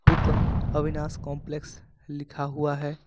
उपर अविनाश कंपलेक्स लिखा हुआ है।